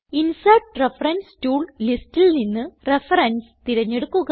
insert reference tool ലിസ്റ്റിൽ നിന്ന് reference തിരഞ്ഞെടുക്കുക